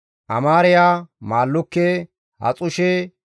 Amaariya, Maallukke, Haxushe,